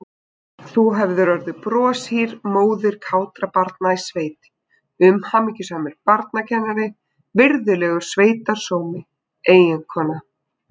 Þú hefðir orðið broshýr móðir kátra barna í sveit, umhyggjusamur barnakennari, virðulegur sveitarsómi, eiginkona.